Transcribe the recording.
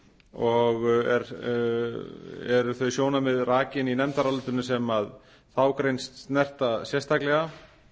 og eru þau sjónarmið rakin í nefndarálitinu sem þá grein snerta sérstaklega